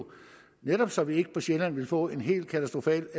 netop så vi ikke på sjælland ville få en helt katastrofal